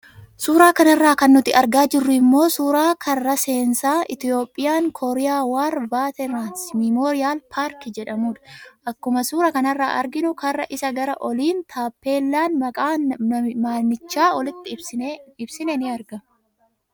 Suuraa kanarraa kan nuti argaa jirru immoo suuraa karra seensaa "Ethiopian Korea War veterans Memorial Park" jedhamuudha. Akkuma suura kanarraa arginu Karra isaa gara oliin taaphelaan maqaa manicha oliitti ibsine ni argama.